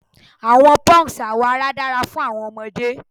Awọn punks awọ ara dara fun awọn ọmọde